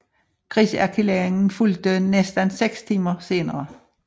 Krigserklæringen fulgte næsten 6 timer senere